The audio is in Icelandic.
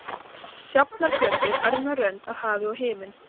Sjafnargötu, örmjó rönd af hafi og himinn.